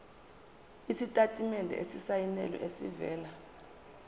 isitatimende esisayinelwe esivela